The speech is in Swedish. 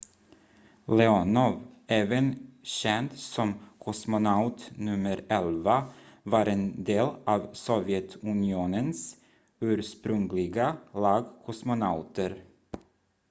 "leonov även känd som "kosmonaut nummer 11" var en del av sovjetunionens ursprungliga lag kosmonauter.